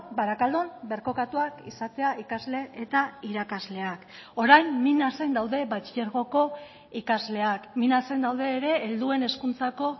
barakaldon birkokatuak izatea ikasle eta irakasleak orain minasen daude batxilergoko ikasleak minasen daude ere helduen hezkuntzako